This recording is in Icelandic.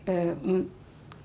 um